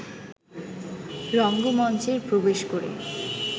রঙ্গমঞ্চে প্রবেশ করে